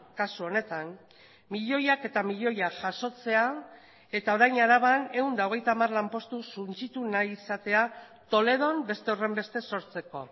kasu honetan milioiak eta milioiak jasotzea eta orain araban ehun eta hogeita hamar lanpostu suntsitu nahi izatea toledon beste horrenbeste sortzeko